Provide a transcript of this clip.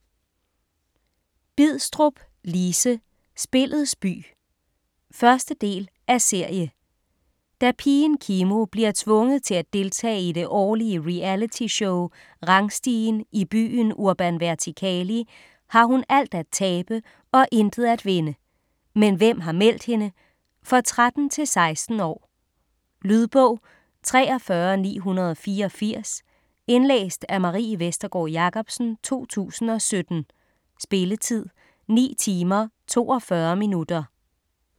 Bidstrup, Lise: Spillets by 1. del af serie. Da pigen Kimo bliver tvunget til at deltage i det årlige realityshow "Rangstigen" i byen Urban Vertikali, har hun alt at tabe og intet at vinde. Men hvem har meldt hende? For 13-16 år. Lydbog 43984 Indlæst af Marie Vestergård Jacobsen, 2017. Spilletid: 9 timer, 42 minutter.